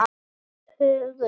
Það er huggun.